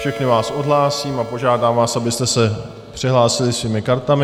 Všechny vás odhlásím a požádám vás, abyste se přihlásili svými kartami.